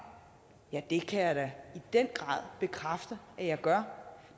ja det kan jeg da i den grad bekræfte at jeg gør